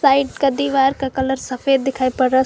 side का दीवार का कलर सफेद दिखाई पड़ रहा--